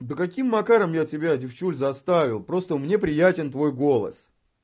да каким каким макаром я тебя девчуль заставил просто мне приятен твой голос